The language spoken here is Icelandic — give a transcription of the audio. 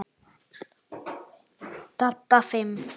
Dadda fimm.